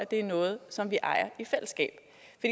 det er noget som vi ejer i fællesskab